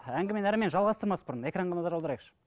әңгімені әрмен жалғастырмас бұрын экранға назар аударайықшы